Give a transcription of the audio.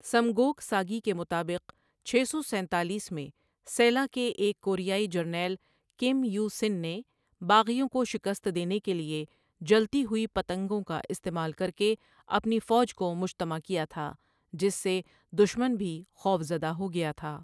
Samguk Sagi کے مطابق، چھ سو سینتالیس میں سیلا کے ایک کوریائی جرنیل کم یوسِن نے باغیوں کو شکست دینے کے لیے جلتی ہوئی پتنگوں کا استعمال کرکے اپنی فوج کو مجتمع کیا تھا جس سے دشمن بھی خوف زدہ ہوگیا تھا۔